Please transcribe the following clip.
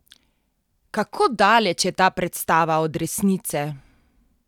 Kako daleč je ta predstava od resnice?